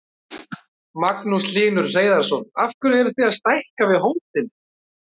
Magnús Hlynur Hreiðarsson: Af hverju eruð þið að stækka við hótelið?